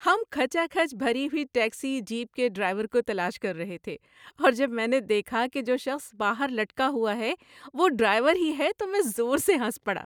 ہم کھچا کھچ بھری ہوئی ٹیکسی جیپ کے ڈرائیور کو تلاش کر رہے تھے اور جب میں نے دیکھا کہ جو شخص باہر لٹکا ہوا ہے وہ ڈرائیور ہی ہے تو میں زور سے ہنس پڑا۔